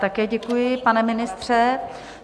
Také děkuji, pane ministře.